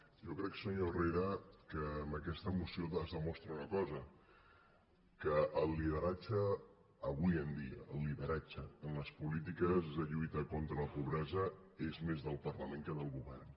jo crec senyor herrera que amb aquesta moció es demostra una cosa que el lideratge avui en dia en les polítiques de lluita contra la pobresa és més del parlament que del govern